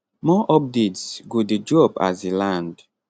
more updates go dey drop as e land